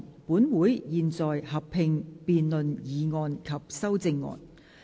本會現在合併辯論議案及修正案。